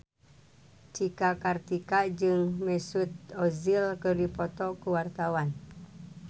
Cika Kartika jeung Mesut Ozil keur dipoto ku wartawan